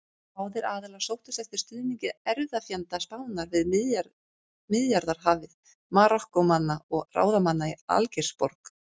Báðir aðilar sóttust eftir stuðningi erfðafjenda Spánar við Miðjarðarhafið: Marokkómanna og ráðamanna í Algeirsborg.